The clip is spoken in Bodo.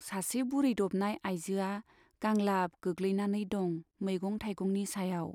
सासे बुरैदबनाय आइजोआ गांलाब गोग्लैनानै दं मैगं थाइगंनि सायाव।